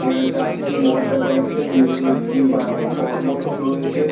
এখানে চারটি মঠ দেখা যাচ্ছে নিচে একটি বা আ ঘর মতোন রয়েছে।